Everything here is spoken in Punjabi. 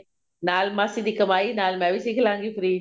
ਨਾਲ ਮਾਸੀ ਦੀ ਕਮਾਈ ਨਾਲ ਮੈਂ ਵੀ ਸਿੱਖ ਲਵਾਂਗੀ free